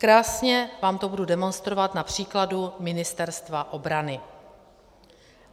Krásně vám to budu demonstrovat na příkladu Ministerstva obrany.